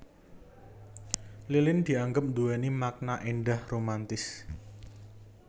Lilin dianggep nduwéni makna éndah romantis